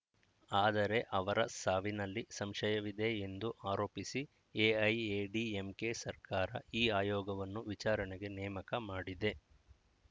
ಆದರೆ ಅವರ ಸಾವಿನಲ್ಲಿ ಸಂಶಯವಿದೆ ಎಂದು ಆರೋಪಿಸಿ ಎಐಎಡಿಎಂಕೆ ಸರ್ಕಾರ ಈ ಆಯೋಗವನ್ನು ವಿಚಾರಣೆಗೆ ನೇಮಕ ಮಾಡಿದೆ